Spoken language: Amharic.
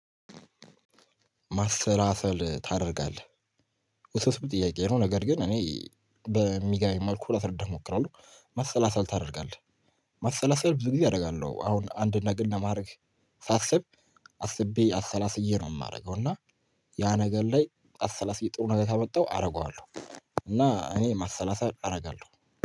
ማሰለሰል ታደርጋለህ? ውስብስብ ጥያቄ ነው ነገር ግን እኔ በሚገበኝ መልኩ ላስረዳህ እሞክራለሁ። መሰላሰል ታደርጋለህ? መሰላሰል ብዙ ጊዜ አደርጋለሁ አሁን አንድ ነገር ለማድረግ ሳስብ አስቤ አሰላስዬ ነው የማደርገው እና ያ ነገር ላይ አሰላስዬ ጥሩ ነገር ካመጣው አደርገዋለሁ። እና እኔ ማሰላሰል አደርጋለሁ